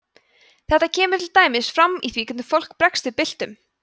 þetta kemur til dæmis fram í því hvernig fólk bregst við byltum